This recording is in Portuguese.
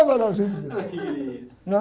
Ô, maravilha! Né?